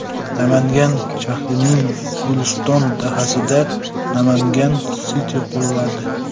Namangan shahrining Guliston dahasida Namangan City quriladi .